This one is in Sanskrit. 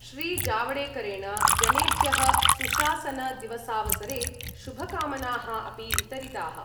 श्रीजावडेकरेण जनेभ्य: सुशासनदिवसावसरे शुभकामनाः अपि वितरिताः।